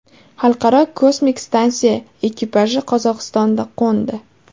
Xalqaro kosmik stansiya ekipaji Qozog‘istonda qo‘ndi.